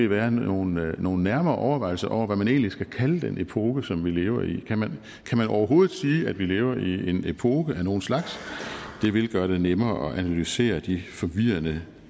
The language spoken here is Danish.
være nogle være nogle nærmere overvejelser om hvad man egentlig skal kalde den epoke som vi lever i kan man overhovedet sige at vi lever i en epoke af nogen slags det vil gøre det nemmere at analysere de forvirrende